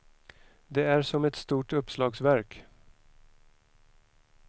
Det är som ett stort uppslagsverk.